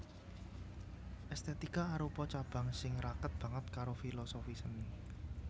Èstètika arupa cabang sing raket banget karo filosofi seni